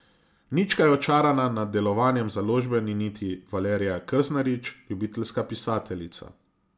Nič kaj očarana nad delovanjem založbe ni niti Valerija Krznarič, ljubiteljska pisateljica.